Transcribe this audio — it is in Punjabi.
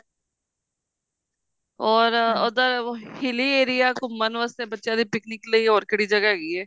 or ਉੱਧਰ hilly area ਘੁੰਮਣ ਵਾਸਤੇ ਬੱਚਿਆ ਦੀ picnic ਲਈ ਹੋਰ ਕਿਹੜੀ ਜਗ੍ਹਾ ਹੈਗੀ ਐ